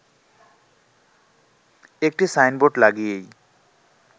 একটি সাইনবোর্ড লাগিয়েই